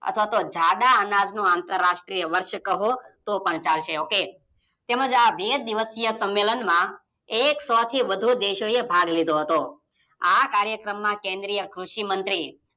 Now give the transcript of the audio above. અથવા તો જાડા અનાજનું અતરાષ્ટ્રીય વર્ષ કહો તો પણ ચાલશે Ok તેમજ આ બે દિવસીય સંમેલનમાં એક સોથી વધુ દેશો એ ભાગ લીધો હતો આ કાર્યકમ માં કેદ્રીય કૃષિમંત્રી